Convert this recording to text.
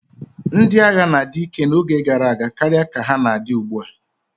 Ndị agha na-adi ike n'oge gara aga karịa ka ha na-adi ugbu a.